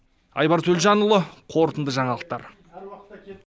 айбар төлжанұлы қорытынды жаңалықтар